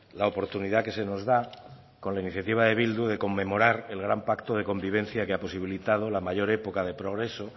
la oportunidad que se nos da con la iniciativa de bildu de conmemorar el gran pacto de convivencia que ha posibilitado la mayor época de progreso